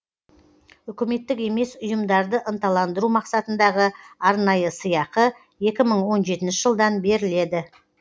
үкіметтік емес ұйымдарды ынталандыру мақсатындағы арнайы сыйақы екі мың он жетінші жылдан беріледі